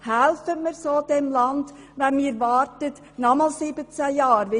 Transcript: Helfen wir so diesem Land, bis wir nochmals 17 Jahre warten?